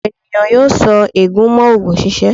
Ọ̀pọ̀ ènìyàn yóò so ègún mọ́ oògùn ṣíṣe.